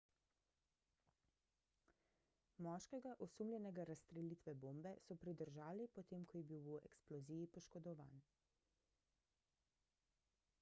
moškega osumljenega razstrelitve bombe so pridržali potem ko je bil v eksploziji poškodovan